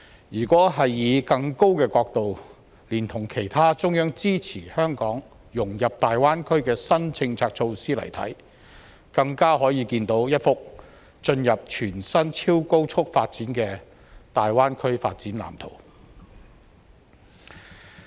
如果以更高的角度，連同其他中央支持香港融入大灣區的新政策措施來看，更可以看到一幅進入全新超高速發展的大灣區發展藍圖。